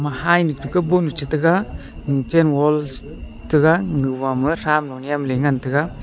hybu tekaboh nu teka kuchen wall taiga egama thram nu nyamlelay ngan taiga.